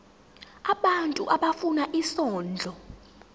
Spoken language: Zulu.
abantu abafuna isondlo